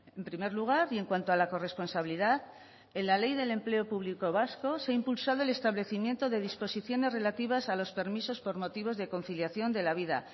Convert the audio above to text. en primer lugar y en cuanto a la corresponsabilidad en la ley de empleo público vasco se ha impulsado el establecimiento de disposiciones relativas a los permisos por motivos de conciliación de la vida